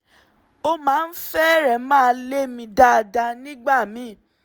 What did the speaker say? ó máa ń fẹ́rẹ̀ẹ́ má lè mí dáadáa nígbà míì